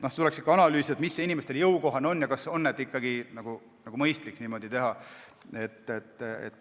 Tuleks ikkagi analüüsida, mis on inimestele jõukohane ja kas on ikkagi mõistlik niimoodi teha.